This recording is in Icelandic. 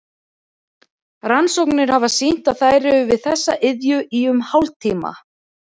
Rannsóknir hafa sýnt að þær eru við þessa iðju í um hálftíma.